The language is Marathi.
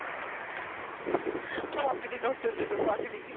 वाकडी नव्हत तीत वाकडी